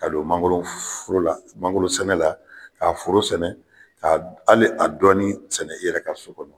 Ka don mangolo foro la mangoro sɛnɛ la ka foro sɛnɛ ka hali a dɔɔni sɛnɛ i yɛrɛ ka so kɔnɔ.